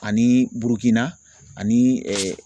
Ani Burukina ani